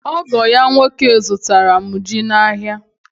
Ogo ya nwoke zụtara m ji n'ahịa.